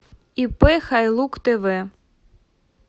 ип хайлук тв